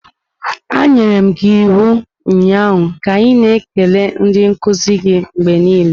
Anyere m gị iwu ụnyaahụ ka ị na-ekele ndị nkuzi gị mgbe niile!